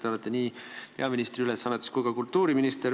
Te olete nii peaministri ülesannetes kui ka kultuuriminister.